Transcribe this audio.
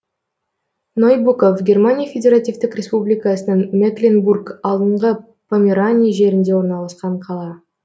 нойбуков германия федеративтік республикасының мекленбург алдыңғы померания жерінде орналасқан қала